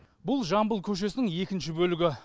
бұл жамбыл көшесінің екінші бөлігі